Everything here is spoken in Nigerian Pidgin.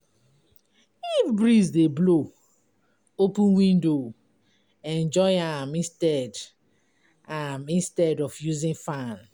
If breeze dey blow, open window enjoy am instead am instead of using fan.